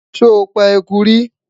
sho pa ẹkú rí?